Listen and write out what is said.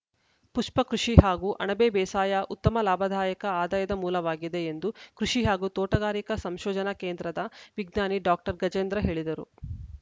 ಪುಷ್ಪಕೃಷಿ ಹಾಗೂ ಅಣಬೆ ಬೇಸಾಯ ಉತ್ತಮ ಲಾಭದಾಯಕ ಆದಾಯದ ಮೂಲವಾಗಿದೆ ಎಂದು ಕೃಷಿ ಹಾಗೂ ತೋಟಗಾರಿಕಾ ಸಂಶೋಧನಾ ಕೇಂದ್ರದ ವಿಜ್ಞಾನಿ ಡಾಕ್ಟರ್ ಗಜೇಂದ್ರ ಹೇಳಿದರು